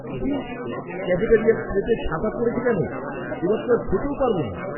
ছি! ক্যাফেটেরিয়ার ট্রেতে ছাতা পড়েছে কেন? এবার তো আর খেতেও পারবো না।